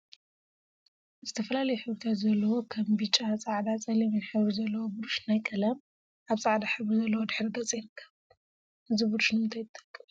ዝተፈላለዩ ሕብሪታት ዘለዋ ከም ብጫ፣ ፃዕዳን ፀሊምን ሕብሪ ዘለዋ ብሩሽ ናይ ቀለም አብ ፃዕዳ ሕብሪ ዘለዎ ድሕረ ገፅ ትርከብ፡፡ እዛ ብሩሽ ንምንታይ ትጠቅም?